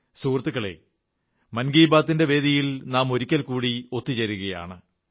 സുഹൃത്തുക്കളേ മൻ കീ ബാത്തിന്റെ വേദിയിൽ നാം ഒരിക്കൽ കൂടി ഒത്തുചേരുകയാണ്